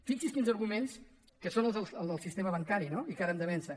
fixi’s quins arguments que són els del sistema bancari no i que ara hem de vèncer